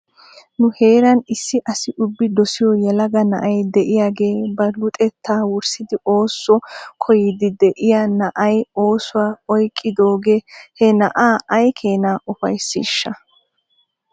Nu heeran issi asi ubbi dusiyoo yalaga na'ay de'iyaagee ba luxxettaa wurssidi ooso koyiiddi de'iyaa na'ay oosuwaa oyqqidoogee he na'aa ay keena ufaysiishsha?